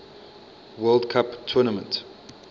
world cup tournament